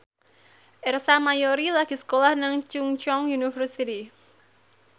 Ersa Mayori lagi sekolah nang Chungceong University